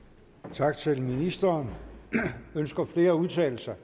tak til ministeren ønsker flere at udtale sig